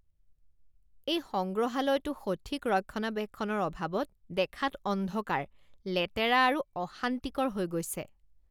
এই সংগ্ৰহালয়টো সঠিক ৰক্ষণাবেক্ষণৰ অভাৱত দেখাত অন্ধকাৰ, লেতেৰা আৰু অশান্তিকৰ হৈ গৈছে।